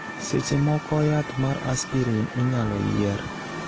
seche moko, yath mar aspirin inyalo yier